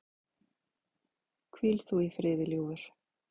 Hvíl þú í friði, ljúfur.